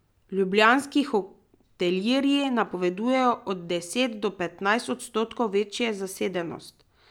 Ljubljanski hotelirji napovedujejo od deset do petnajst odstotkov večjo zasedenost.